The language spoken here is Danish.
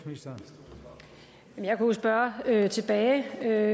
jeg bare spørge jeg vil tage